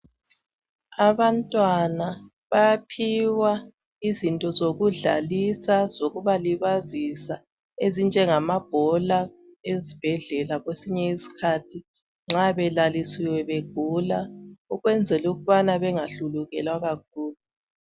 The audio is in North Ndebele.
Abantwana bayaphiwa izinto zokudlalisa zokubaĺibazisa ezinjengamabhola ezibhedlela kwesinye isikhathi nxa belalisiwe begula ukuze bengahlulukelwa kakhulu